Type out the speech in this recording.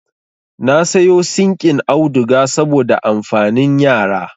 Na sayo sinƙin auduga saboda amfanin yara